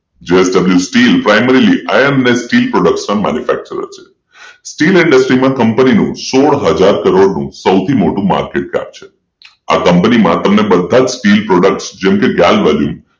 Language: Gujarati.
JSWSteel primaryIMESteel product manufacturer છે સ્ટીલ ઇન્ડસ્ટ્રીઝ કંપની સોઢ હજાર કરોડ નું સૌથી મોટું માર્કેટકેપ છે આ કંપની ના બધા જ તમને સ્ટીલ પ્રોડક્ટ જેમકે ગેલવે લીન